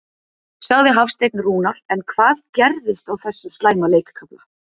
sagði Hafsteinn Rúnar en hvað gerðist á þessum slæma leikkafla?